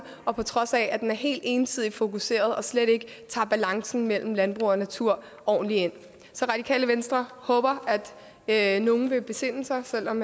og på trods af at det er helt ensidigt fokuseret og slet ikke tager balancen mellem landbrug og natur ordentligt ind så radikale venstre håber at nogle vil besinde sig selv om